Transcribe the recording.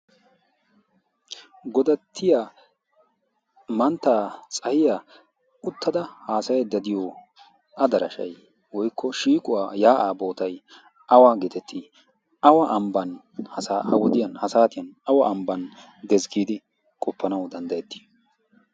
Godattiya woykko Mantta Tsahiya uttada haasayaydda diyo adarashay woykko shiiquwaa yaa'aa bootay awa geetettii? Awa ambban ha wodiya ha saatiyan awa ambban dees giidi qoppanawu danddayettii?